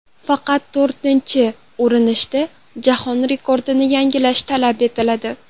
Faqat to‘rtinchi urinishda jahon rekordini yangilash talab etiladi.